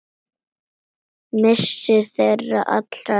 Missir þeirra allra er mikill.